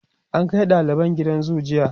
an Kai daliban gidan zoo jiya